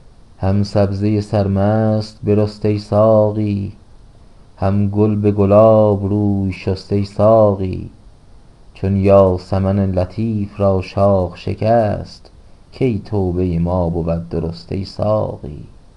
هم سبزه سرمست برست ای ساقی هم گل به گلاب روی شست ای ساقی چون یاسمن لطیف را شاخ شکست کی توبه ما بود درست ای ساقی